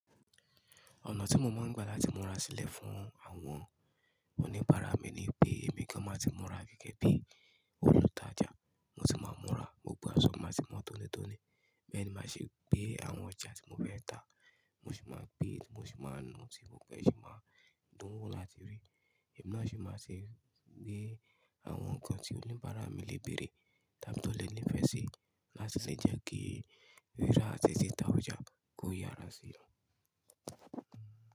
Ọ̀nà tí mo máa ń gbà láti múra sílẹ̀ fún àwọn oníbàárà mi ni pé èmi gan máa ti múra gẹ́gẹ́ bí olùtajà, mo tì máa múra, gbogbo aṣọ mi a sì mó tónítóní, bẹ́ẹ̀ni máa sì gbé àwọn ojà tí mo fẹ́ ta, mo sì máa gbé, mo sì máa nu tí gbogbo ẹ́ sì máa dún wọ́ láti rí. Ẹ̀mi náà sì máa sì gbé àwọn ǹkan tí oníbàárà mi lè bẹ̀rẹ̀, tàbí tó lè nífẹ̀ẹ́ sí láti sì jẹ́ kí rírà àti tìta ojà kó yára sí i.